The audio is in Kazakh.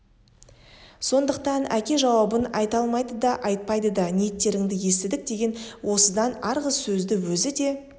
сондықтан әке жауабын айта алмайды да айтпайды да ниеттеріңді естідік деген осыдан арғы сөзді өзі де